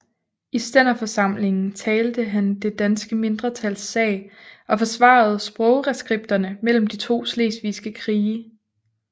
I stænderforsamlingen talte han det danske mindretals sag og forsvarede sprogreskripterne mellem de to slesvigske krige